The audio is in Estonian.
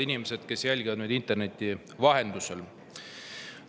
Head inimesed, kes te jälgite meid interneti vahendusel!